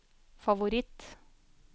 favoritt